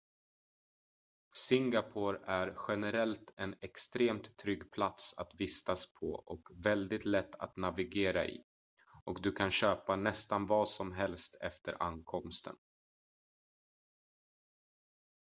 singapore är generellt en extremt trygg plats att vistas på och väldigt lätt att navigera i och du kan köpa nästan vad som helst efter ankomsten